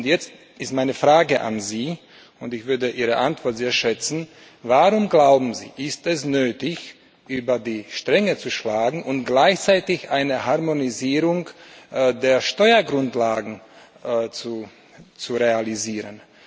Jetzt ist meine Frage an Sie, und ich würde Ihre Antwort sehr schätzen Warum, glauben Sie, ist es nötig, über die Stränge zu schlagen und gleichzeitig eine Harmonisierung der Steuergrundlagen zu realisieren?